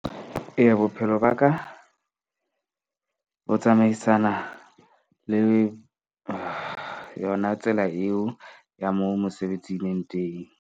Eya bophelo ba ka bo tsamaisana le yona tsela eo ya moo mosebetsi e leng teng.